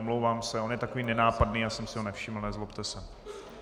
Omlouvám se, on je takový nenápadný, já jsem si ho nevšiml, nezlobte se.